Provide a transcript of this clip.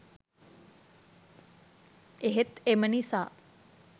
එහෙත් එම නිසා